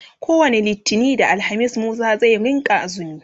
kowani littani da alhamis Musa zai rinka axumi